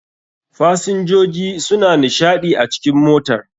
fasinjoji suna nishaɗi a cikn motar.